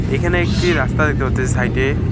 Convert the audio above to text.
এইখানে একটি রাস্তা দেখতে পারতেসি সাইট -এ।